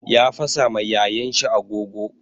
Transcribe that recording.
Ya fasa ma yayan shi agogo.